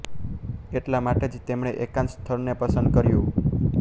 એટલા માટે જ તેમણે એકાંત સ્થળને પસંદ કર્યું